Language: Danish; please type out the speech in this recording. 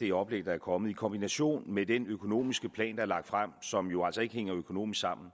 det oplæg der er kommet i kombination med den økonomiske plan der er lagt frem og som jo altså ikke hænger økonomisk sammen